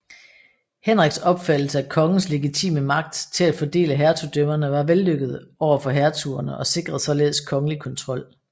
Henriks opfattelse af kongens legitime magt til at fordele hertugdømmerne var vellykket over for hertugerne og sikrede således kongelig kontrol